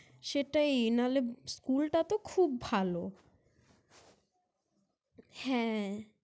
সেটাই নাহলে School টা তো খুব ভালো। হ্যাঁ!